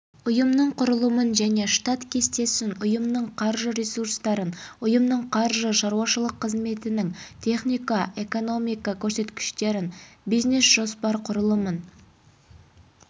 ұйымның құрылымын және штат кестесін ұйымның қаржы ресурстарын ұйымның қаржы шаруашылық қызметінің технико экономикалық көрсеткіштерін бизнес жоспар құрылымын